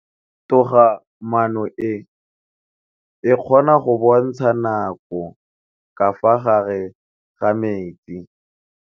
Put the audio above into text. Toga maanô e, e kgona go bontsha nakô ka fa gare ga metsi.